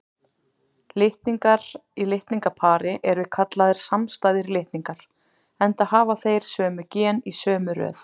Litningar í litningapari eru kallaðir samstæðir litningar, enda hafa þeir sömu gen í sömu röð.